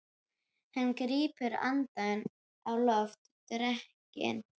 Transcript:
Hann grípur andann á lofti. drekinn!